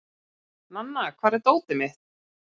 Nanna, hvar er dótið mitt?